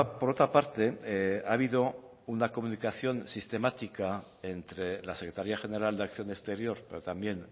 por otra parte ha habido una comunicación sistemática entre la secretaría general de acción exterior pero también